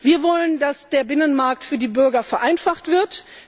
Wir wollen, dass der Binnenmarkt für die Bürger vereinfacht wird.